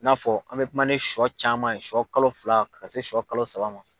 I n'a fɔ an bɛ kuma ni shɔ caman ye shɔ kalo fila kana se shɔ kalo saba ma.